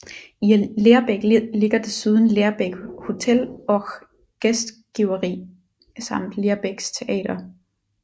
I Lerbäck ligger desuden Lerbäck hotell och gästgifveri samt Lerbäcks Teater